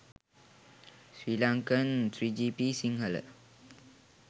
srilankan 3gp sinhala